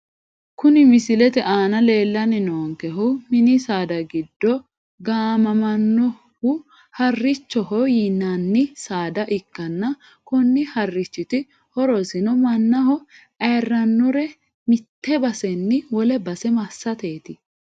Kuni misilete aana leellanni noohukuni mini saada giddo gaamamannohu harrichoho yinani saada ikkanna, konni harrichiti horosino mannaho ayiirrannore mitte basenni wole base massateeti.